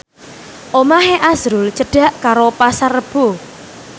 omahe azrul cedhak karo Pasar Rebo